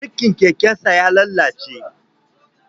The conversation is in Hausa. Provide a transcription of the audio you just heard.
Birkin kekensa ya lalace